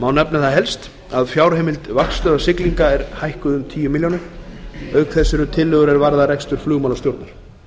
má nefna það helst að fjárheimild vaktstöðvar siglinga er hækkuð um tíu milljónir króna auk þess eru tillögur er varða rekstur flugmálastjórnar